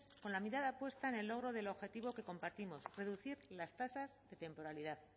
con la mirada puesta en el logro del objetivo que compartimos reducir las tasas de temporalidad